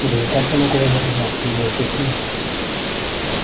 да и как я могу возражать меня здесь нет